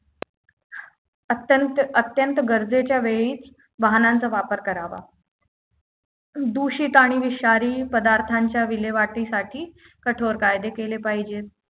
अत्यंत अत्यंत गरजेच्या वेळी वाहनांचा वापर करावा दूषित आणि विषारी पदार्थांच्या विल्हेवाटीसाठी कठोर कायदे केले पाहिजेत